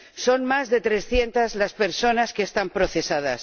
Son más de trescientas las personas que están procesadas.